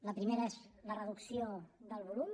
la primera és la reducció del volum